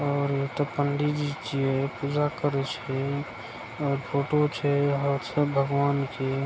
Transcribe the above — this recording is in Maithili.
और एत पंडि जी छे पूजा करइ छे और फोटो छे भगवान के।